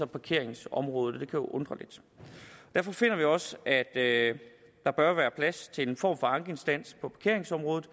parkeringsområdet og det kan jo undre lidt derfor finder vi også at der bør være plads til en form for en ankeinstans på parkeringsområdet